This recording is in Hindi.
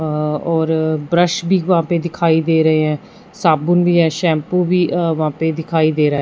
अ और ब्रश भीं वहाँ पे दिखाई दे रहें हैं साबुन भीं हैं शॅम्पू भीं अ वहाँ पे दिखाई दे रहा हैं।